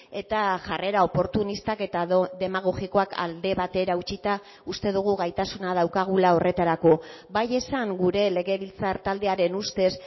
eta jarrera oportunistak eta demagogikoak alde batera utzita uste dugu gaitasuna daukagula horretarako bai esan gure legebiltzar taldearen ustez